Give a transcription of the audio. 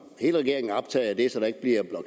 hele regeringen